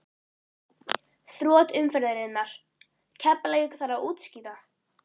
Þrot umferðarinnar: Keflavík Þarf að útskýra?